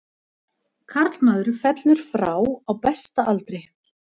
Karlmaður fellur frá á besta aldri.